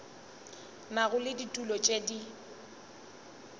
nago le ditulo tše di